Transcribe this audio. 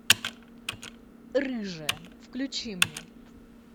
рыжая включи мне